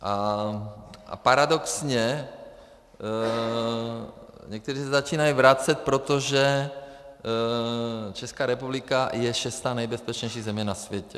A paradoxně někteří se začínají vracet, protože Česká republika je šestá nejbezpečnější země na světě.